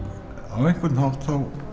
á einhvern hátt